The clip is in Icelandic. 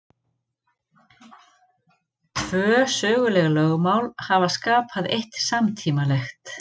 Tvö söguleg lögmál hafa skapað eitt samtímalegt.